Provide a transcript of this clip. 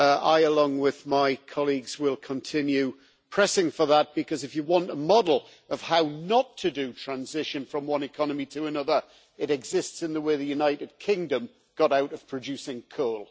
I, along with my colleagues, will continue pressing for that, because if you want a model of how not to do transition from one economy to another, it exists in the way the United Kingdom got out of producing coal.